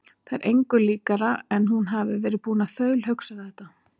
Það er engu líkara en hún hafi verið búin að þaulhugsa þetta.